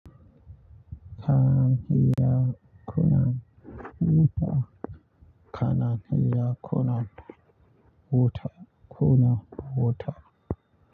Kana iya kunna wuta? Kana iya kunna wutar, kunna water.